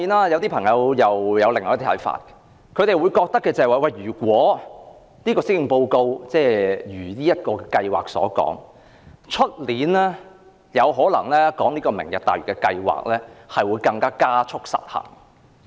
有些朋友又有另一些看法，認為如果施政報告按計劃行事，在明年討論"明日大嶼"計劃時，經濟有可能會加速失衡。